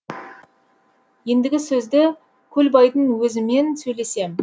ендігі сөзді көлбайдың өзімен сөйлесем